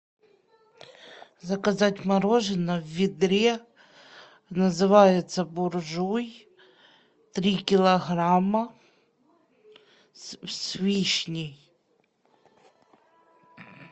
заказать мороженое в ведре называется буржуй три килограмма с вишней